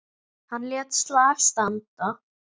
Hann lét slag standa.